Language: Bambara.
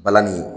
Balani